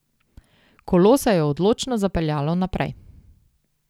Kolo se je odločno zapeljalo naprej.